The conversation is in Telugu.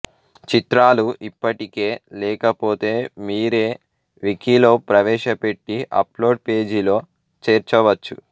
చిత్రాలు ఇప్పటికే లేక పోతే మీరే వికీలో ప్రవేశ పెట్టి అప్లోడ్ పేజీలో చేర్చ వచ్చు